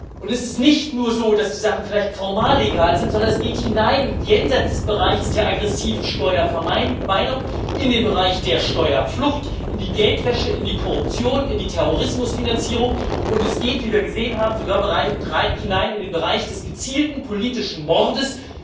Und es ist nicht nur so, dass die Sachen vielleicht formal legal sind, sondern es geht jenseits des Bereiches der aggressiven Steuervermeidung hinein in den Bereich der Steuerflucht, in die Geldwäsche, in die Korruption, in die Terrorismusfinanzierung, und es geht, wie wir gesehen haben, sogar hinein in den Bereich des gezielten politischen Mordes.